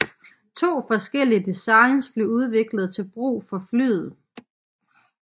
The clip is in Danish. To forskellige designs blev udviklet til brug for flyet